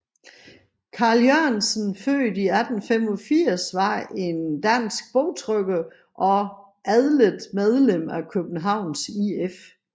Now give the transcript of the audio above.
Carl Jørgensen født 1885 var en dansk bogtrykker og atlet medlem af Københavns IF